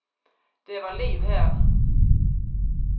Det var liv her.